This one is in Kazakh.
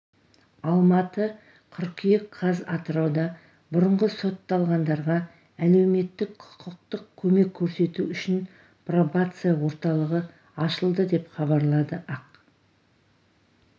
алматы қыркүйек қаз атырауда бұрынғы сотталғандарға әлеуметтік-құқықтық көмек көрсету үшін пробация орталығы ашылды деп хабарлады ақ